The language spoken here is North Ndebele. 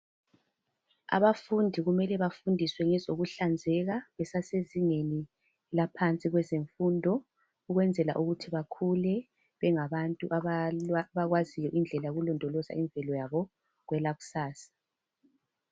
Abafundi kumele bafundiswe ngezokuhlanzeka besasezingeni laphansi kwezemfundo ukwenzela ukuthi bakhule bengabantu abakwaziyo ukulondoloza imvelo yabo kwelakusasa.